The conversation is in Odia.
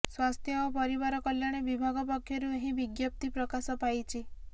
ସ୍ୱାସ୍ଥ୍ୟ ଓ ପରିବାର କଲ୍ୟାଣ ବିଭାଗ ପକ୍ଷରୁ ଏହି ବିଜ୍ଞପ୍ତି ପ୍ରକାଶ ପାଇଛି